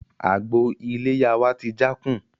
Àgbò iléyá wá ti jákùn